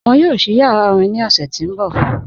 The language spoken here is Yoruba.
Wọn yóò sí yàrá orín ní ọṣù tí n bọ̀.